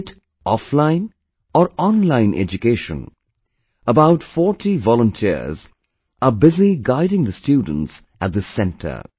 Be it offline or online education, about 40 volunteers are busy guiding the students at this center